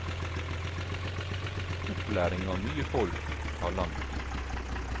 Opplæring av nye folk tar lang tid.